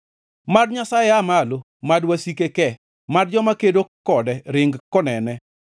Mad Nyasaye aa malo, mad wasike ke; mad joma kedo kode ring konene.